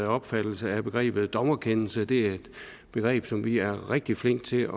opfattelse af begrebet dommerkendelse det er et begreb som vi er rigtig flinke til